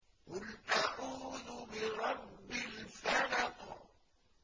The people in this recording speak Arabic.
قُلْ أَعُوذُ بِرَبِّ الْفَلَقِ